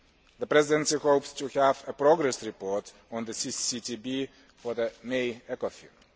The Presidency hopes to have a progress report on the CCCTB for the May ECOFIN.